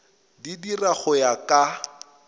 di dira go ya ka